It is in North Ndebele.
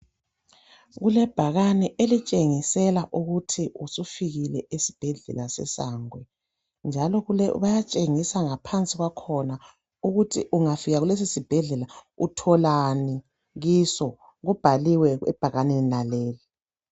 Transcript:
Kulebhakane elitshengisela ukuthi usufikile esibhedlela seSangwe, njalo bayatshengisa ngaphansi kwakhona ukuthi ungafika kulesosibhedlela utholani kiso kubhaliwe ebhakaneni laleli.